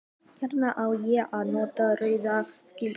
Hvenær á ég að nota rauða silkislæðu?